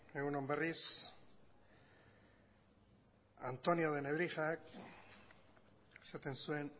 egun on berriz antonio de nebrijak esaten zuen